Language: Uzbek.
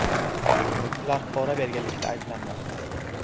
Ular pora berganlikda ayblanmoqda.